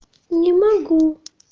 не могу